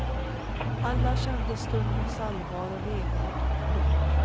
Alla kände stundens allvar och vemod. punkt